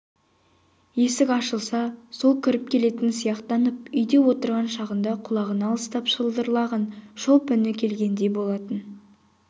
есік ашылса сол кіріп келетін сияқтанып үйде отырған шағында құлағына алыстан шылдырлаған шолпы үні келгендей болатын